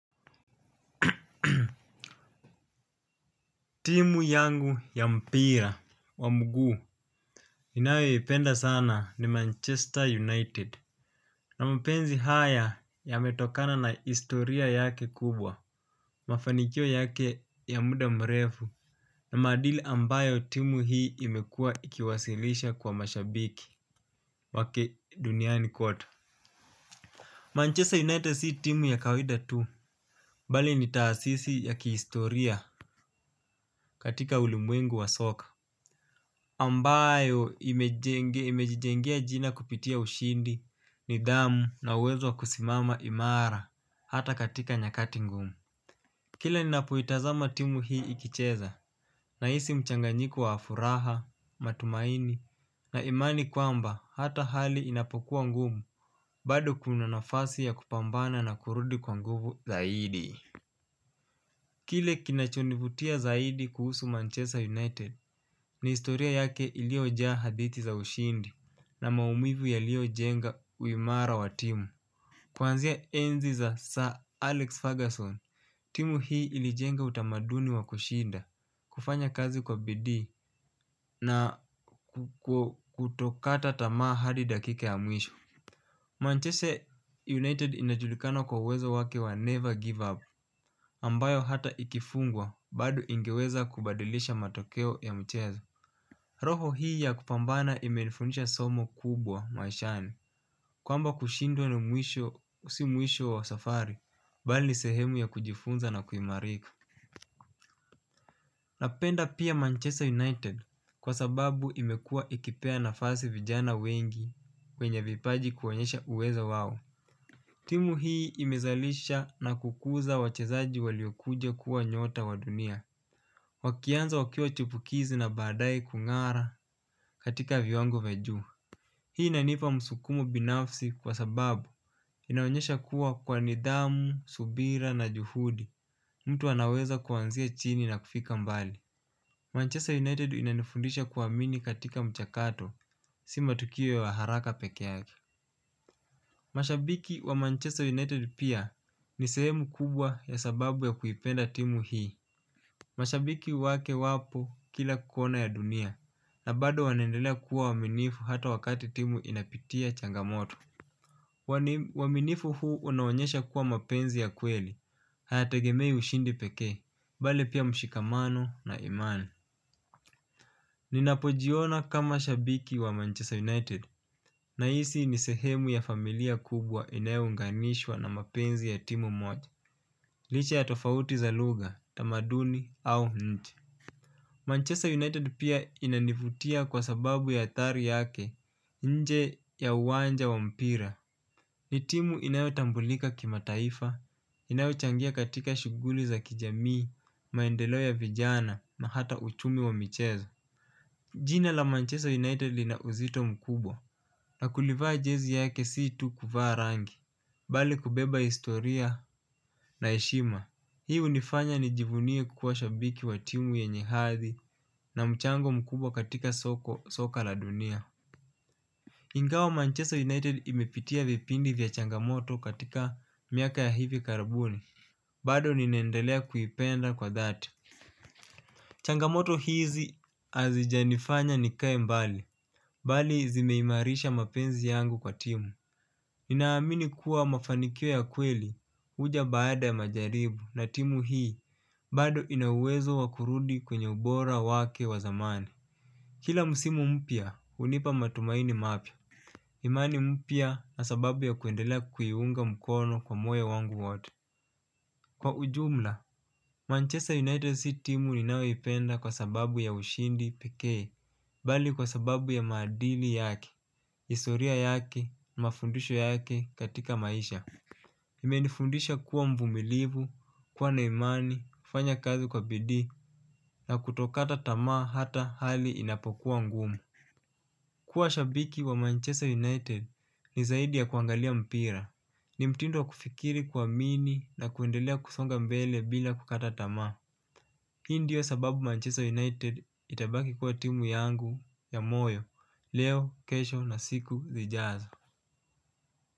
Timu yangu ya mpira wa mguu ninayoipenda sana ni manchester united. Na mapenzi haya yametokana na historia yake kubwa. Mafanikio yake ya muda mrefu na maadili ambayo timu hii imekua ikiwasilisha kwa mashabiki wake duniani kote Manchester united si timu ya kawida tu. Mbali ni taasisi ya kihistoria katika ulimwengu wa soccer ambayo imejijengea jina kupitia ushindi nidhamu na wezo kusimama imara hata katika nyakati ngumu. Kila ninapoitazam atimu hii ikicheza nahisi mchanganyikuowa furaha, matumaini na imani kwamba hata hali inapokuwa ngumu bado kuna nafasi ya kupambana na kurudi kwa nguvu zaidi. Kile kinachonivutia zaidi kuhusu Manchester United ni historia yake iliojaa hadithi za ushindi na maumivu yalio jenga uimara wa timu. Kwanzia enzi za Sir Alex Ferguson, timu hii ilijenga utamaduni wa kushinda, kufanya kazi kwa bidii na kutokata tamaa hadi dakika ya mwisho Manchester United inajulikana kwa uwezo wake wa never give up, ambayo hata ikifungwa bado ingeweza kubadilisha matokeo ya mchezo. Roho hii ya kupambana imenifundisha somo kubwa maishani, kwamba kushindwa ni mwisho si mwisho wa safari, bali sehemu ya kujifunza na kuimarika. Napenda pia Manchester United kwa sababu imekua ikipea nafasi vijana wengi kwenye vipaji kuonyesha uwezo wao. Timu hii imezalisha na kukuza wachezaji waliokuja kuwa nyota wa dunia. Wakianza wakiwa chupukizi na baadae kungara katika viwango vya juu. Hii inanipa msukumo binafsi kwa sababu inaonyesha kuwa kwa nidhamu, subira na juhudi mtu anaweza kuanzia chini na kufika mbali Manchester United inanifundisha kuwamini katika mchakato. Si matukio wa haraka peke yake. Mashabiki wa Manchester United pia ni sehemu kubwa ya sababu ya kuipenda timu hii. Mashabiki wake wapo kila kona ya dunia na bado wanaendelea kuwa waaminifu hata wakati timu inapitia changamoto. Waminifu huu unaonyesha kuwa mapenzi ya kweli. Hayategemei ushindi peke bali pia mshikamano na imani. Ninapojiona kama shabiki wa Manchester United Nahisi ni sehemu ya familia kubwa inayounganishwa na mapenzi ya timu moja. Licha ya tofauti za lugha, tamaduni au nchi. Manchester United pia inanivutia kwa sababu ya athari yake nje ya uwanja wa mpira. Ni timu inayotambulika kimataifa, inayochangia katika shuguli za kijamii, maendelo ya vijana na hata uchumi wa michezo. Jina la Manchester United linauzito mkubwa na kulivaa jezi yake si tu kuvaa rangi, bali kubeba historia na heshima. Hii unifanya nijivunie kukuwa shabiki wa timu yenye hadhi na mchango mkubwa katika soko soka la dunia Ingawa Manchester United imepitia vipindi vya changamoto katika miaka ya hivi karabuni bado ninaendelea kuipenda kwa dhati. Changamoto hizi hazijanifanya nikae mbali bali zimeimarisha mapenzi yangu kwa timu. Ninaamini kuwa mafanikio ya kweli uja baada ya majaribu na timu hii bado ina uwezo wakurudi kwenye ubora wake wa zamani. Kila msimu mpya, hunipa matumaini mapya imani mpya na sababu ya kuendelea kuiunga mkono kwa moyo wangu wote. Kwa ujumla Manchester United si timu ninayoipenda kwa sababu ya ushindi pekee bali kwa sababu ya maadili yake, historia yake, mafundisho yake katika maisha. Imenifundisha kuwa mvumilivu, kuwa na imani, kufanya kazi kwa bidii na kutokata tamaa hata hali inapokuwa ngumu. Kuwa shabiki wa Manchester United ni zaidi ya kuangalia mpira. Ni mtindo wa kufikiri kuamini na kuendelea kusonga mbele bila kukata tamaa. Hii ndio sababu Manchester United itabaki kuwa timu yangu ya moyo. Leo, kesho na siku, zijazo.